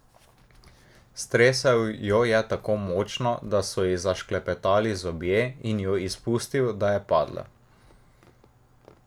Stresel jo je tako močno, da so ji zašklepetali zobje, in jo izpustil, da je padla.